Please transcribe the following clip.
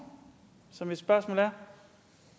så mit spørgsmål er